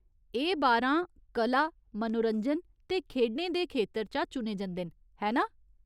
एह् बारां कला, मनोरंजन ते खेढें दे खेतर चा चुने जंदे न, है ना ?